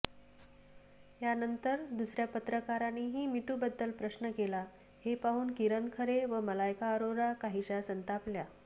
यानंतर दुसऱ्या पत्रकारानेही मीटूबद्दल प्रश्न केला़ हे पाहून किरण खरे व मलायका अरोरा काहीशा संतापल्या